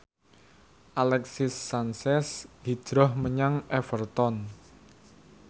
Alexis Sanchez hijrah menyang Everton